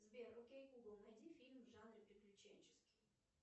сбер окей гугл найди фильм в жанре приключенческий